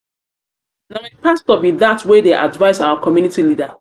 na my pastor be that wey dey advice our community leader